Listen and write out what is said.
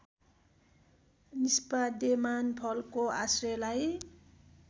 निष्पाद्यमान फलको आश्रयलाई